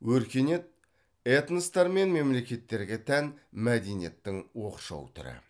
өркениет этностар мен мемлекеттерге тән мәдениеттің оқшау түрі